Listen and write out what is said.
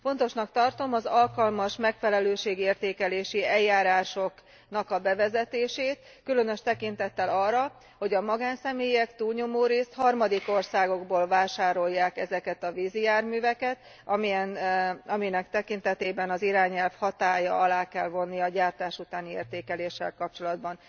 Fontosnak tartom az alkalmas, megfelelőségértékelési eljárásoknak a bevezetését, különös tekintettel arra, hogy a magánszemélyek túlnyomó részt harmadik országokból vásárolják ezeket a vízi járműveket, aminek tekintetében az irányelv hatálya alá kell vonni a gyártás utáni értékeléssel kapcsolatban.